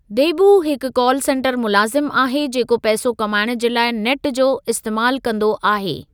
देबू हिकु call centre मुलाज़िमु आहे जेको पैसो कमाइणु जे लाइ नेट जो इस्तेमालु कंदो आहे।